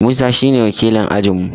Musa shi ne wakilin ajin mu